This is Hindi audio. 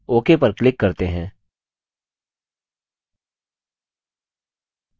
ok पर click करते हैं